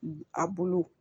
A bulu